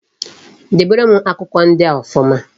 Dobere m akwụkwọ ndịa ọfụma